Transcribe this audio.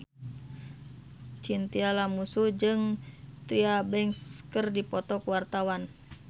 Chintya Lamusu jeung Tyra Banks keur dipoto ku wartawan